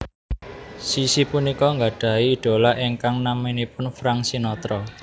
Sissy punika nggadhahi idhola ingkang namanipun Frank Sinatra